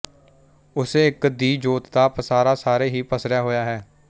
ਉਸੇ ਇੱਕ ਦੀ ਜੋਤ ਦਾ ਪਸਾਰਾ ਸਾਰੇ ਹੀ ਪਸਰਿਆ ਹੋਇਆ ਹੈ